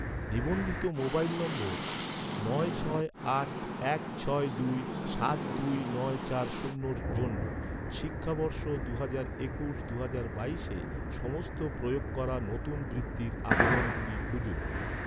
নিবন্ধিত mobile number নয় ছয় আট এক ছয় দুই সাত দুই নয় চার শূন্যের জন্য, শিক্ষাবর্ষ দুহাজার একুশ দুহাজার বাইশে সমস্ত প্রয়োগ করা নতুন বৃত্তির আবেদনগুলো খুঁজুন